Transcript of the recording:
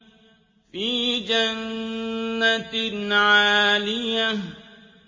فِي جَنَّةٍ عَالِيَةٍ